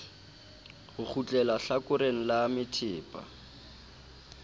ho kgutleha hlakoreng la methepa